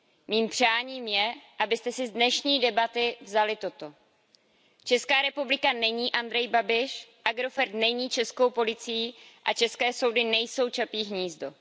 Mým přáním je, abyste si z dnešní debaty vzali toto Česká republika není Andrej Babiš, Agrofert není českou policií a české soudy nejsou Čapí hnízdo.